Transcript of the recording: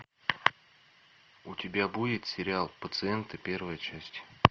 у тебя будет сериал пациенты первая часть